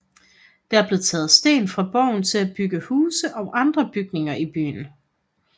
Der blev taget sten fra borgen til at bygge huse og andre bygninger i byen